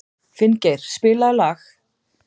Finngeir, spilaðu lag.